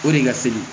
O de ka teli